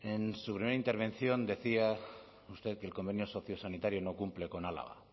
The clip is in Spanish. en su primera intervención decía usted que el convenio sociosanitario no cumple con álava